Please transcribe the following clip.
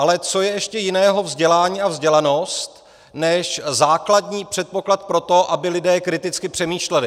Ale co je ještě jiného vzdělání a vzdělanost než základní předpoklad pro to, aby lidé kriticky přemýšleli?